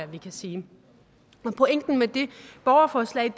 vi kan sige pointen med det borgerforslag